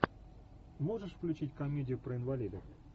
можешь включить комедию про инвалидов